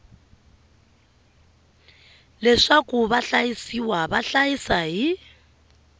leswaku vahlayisiwa va hlayisa hi